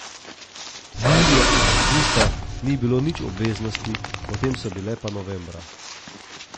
Julija in avgusta ni bilo nič obveznosti, potem so bile pa novembra.